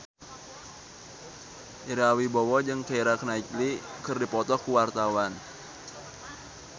Ira Wibowo jeung Keira Knightley keur dipoto ku wartawan